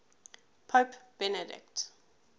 pope benedict